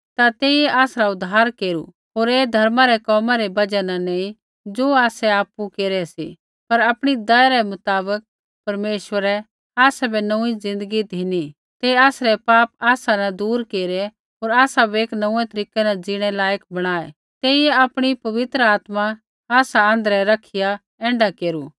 ता तेइयै आसरा उद्धार केरु होर ऐ धर्मा रै कोमा रै बजहा न नैंई ज़ो आसै आपु केरै सी पर आपणी दया रै मुताबक परमेश्वरै आसाबै नोंऊँई ज़िन्दगी धिनी तेइयै आसरै पाप आसा न दूर केरै होर आसाबै एक नोंऊँऐं तरीकै न जीणै लायक बणाऐ तेइयै आपणी पवित्र आत्मा आसा आँध्रै रखिया ऐण्ढा केरू